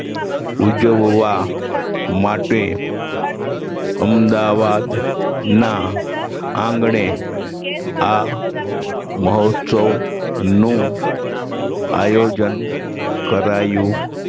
ઉજવવા માટે અમદાવાદના આંગણે આ મહોત્સવનું આયોજન કરાયું